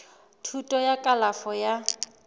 thuto ya kalafo ya tsa